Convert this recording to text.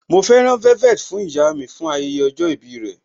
Mọ fẹ́ rán velvet fún ìyá mi fún ayẹyẹ ọjọ́ ìbí rẹ.